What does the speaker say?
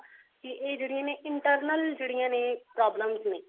ਕੀ ਇਹ ਜਿਹੜੀਆਂ ਨੇ internal ਜਿਹੜੀਆਂ ਨੇ problems ਨੇ